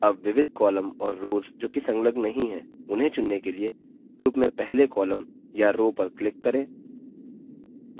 अब विविध columns और रोव्स जो की संलग्न नहीं है उन्हें चुनने के लिए group में पहले columns या rows पर click करें